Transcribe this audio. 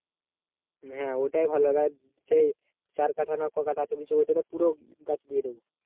হ্যাঁ ওটাই ভালো হবে আর চার কাঠা না ক কাঠা বলছিলি ওইটা পুরো গাছ দিয়ে দেব